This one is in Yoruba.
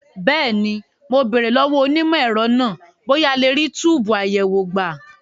Bẹ́ẹ̀ni, mo béèrè lọ́wọ́ onímọ̀ ẹ̀rọ náà bóyá a lè rí túbùù àyẹ̀wò gbà.